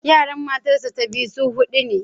Yaran matarsa ​​ta biyu su hudu ne.